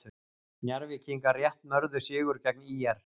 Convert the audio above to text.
Njarðvíkingar rétt mörðu sigur gegn ÍR